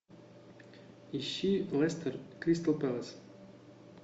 ищи лестер кристал пэлас